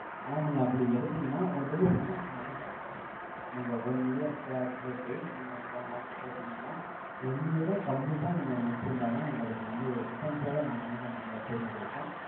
ஆனா, நீங்க, அப்படி எடுத்தீங்கன்னா, உங்களுக்கு வந்து, returns மட்டும், கிடைக்காது. நீங்க one year pla~ போட்டு, நீங்க வந்து one lakhs போட்டிருந்தீங்கன்னா, one year உம் complete ஆ நீங்க முடிச்சிருந்தாதான், உங்களுக்கு வந்து, returns ஓட நாங்க வந்து, இந்த money ய திரும்ப கொடுப்போம்.